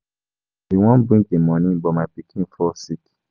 I bin wan bring the money but my pikin fall sick.